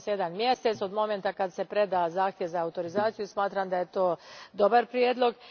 Spominje se jedan mjesec od trenutka kad se preda zahtjev za autorizaciju i smatram da je to dobar prijedlog.